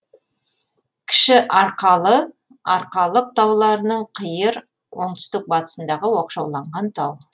кіші арқалы арқалық тауларының қиыр оңтүстік батысындағы оқшауланған тау